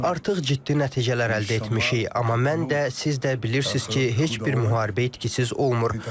Artıq ciddi nəticələr əldə etmişik, amma mən də, siz də bilirsiniz ki, heç bir müharibə itkisiz olmur.